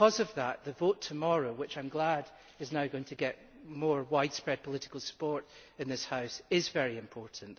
Therefore, the vote tomorrow which I am glad is now going to get more widespread political support in this House is very important.